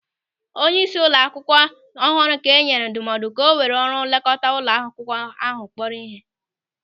Onyeisi ụlọ akwụkwọ ọhụrụ ka enyere ndụmọdụ ka o were ọrụ nlekọta ụlọ akwụkwọ ahụ kpọrọ ihe.